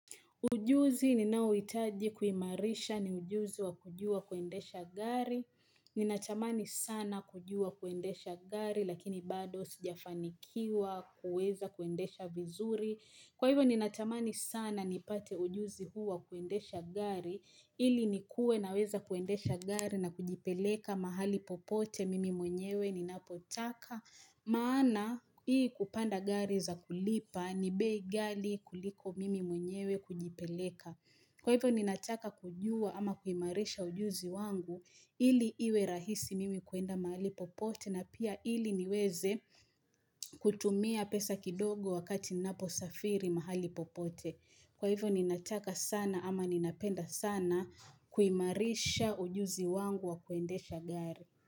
Ujuzi ni nauitaji kuimarisha ni ujuzi wa kujua kuendesha gari. Ninatamani sana kujua kuendesha gari lakini bado sijafanikiwa kuweza kuendesha vizuri. Kwa hivyo ninatamani sana ni pate ujuzi huu wa kuendesha gari ili nikuwe na weza kuendesha gari na kujipeleka mahali popote mimi mwenyewe ni napotaka. Maana hii kupanda gari za kulipa ni bei gali kuliko mimi mwenyewe kujipeleka. Kwa hivyo ninataka kujua ama kuimarisha ujuzi wangu ili iwe rahisi mimi kuenda mahali popote na pia ili niweze kutumia pesa kidogo wakati ninapo safiri mahali popote. Kwa hivyo ninataka sana ama ninapenda sana kuimarisha ujuzi wangu wa kuendesha gari.